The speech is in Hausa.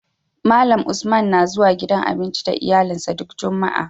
Malan Usman na zuwa gidan abinci da iyalin sa duk jumaa